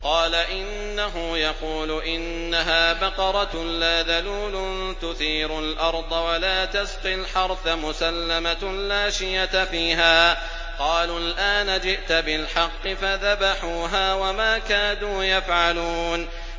قَالَ إِنَّهُ يَقُولُ إِنَّهَا بَقَرَةٌ لَّا ذَلُولٌ تُثِيرُ الْأَرْضَ وَلَا تَسْقِي الْحَرْثَ مُسَلَّمَةٌ لَّا شِيَةَ فِيهَا ۚ قَالُوا الْآنَ جِئْتَ بِالْحَقِّ ۚ فَذَبَحُوهَا وَمَا كَادُوا يَفْعَلُونَ